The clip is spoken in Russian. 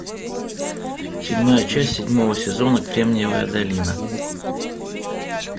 седьмая часть седьмого сезона кремниевая долина